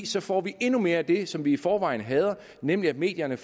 så får vi endnu mere af det som vi i forvejen hader nemlig at medierne